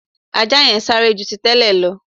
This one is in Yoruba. Ajá yẹn sáré ju ti tẹ́lẹ̀ lọ